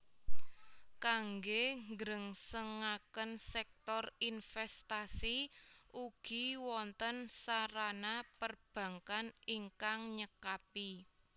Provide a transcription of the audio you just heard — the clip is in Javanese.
Kangge nggrengsengaken sèktor inventasi ugi wonten sarana perbankkan ingkang nyekapi